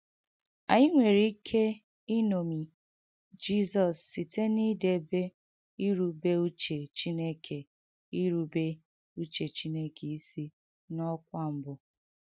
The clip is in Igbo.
Ànyị nwere ike ìnọ́mi Jìzọs site n’idèbè ìrùbè uchè Chìnèkè ìrùbè uchè Chìnèkè isi n’ọkwà̀ mbụ.